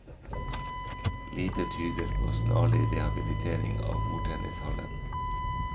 Lite tyder på snarlig rehabilitering av bordtennishallen.